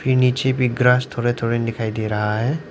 नीचे भी ग्रास थोड़ा थोड़ा दिखाई दे रहा है।